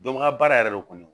Dɔnbaga baara yɛrɛ kɔni